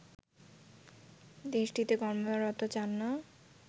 দেশটিতে কর্মরত চান না